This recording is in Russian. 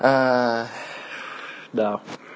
а да